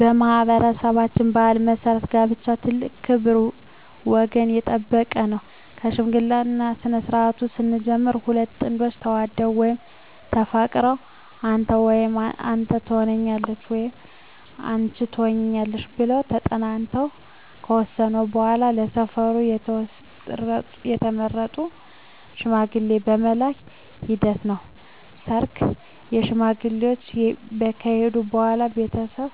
በማኅበረሠባችን ባሕል መሠረት ጋብቻ ትልቅ ክብር ወገን የጠበቀ ነው ከሽምግልናው ስነስርዓት ስንጀምር ሁለት ጥንዶች ተዋደው ወይም ተፋቅረው አንተ ወይም አንተ ተሆነኛለህ ወይም አንች ትሆኝኛለሽ ብለው ተጠናንተው ከወሰኑ በዋላ በሰፈሩ የተመረጡ ሽማግሌዎች የመላክ ሂደት ነው ሰርግ ሽማግሌዎች ከሄዱ በዋላ ቤተሰብ